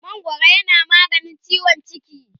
mangwaro yana maganin ciwon ciki